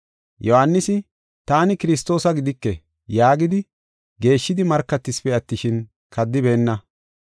Yohaanisi, “Taani Kiristoosa gidike” yaagidi, geeshshidi markatisipe attishin, kaddibeenna.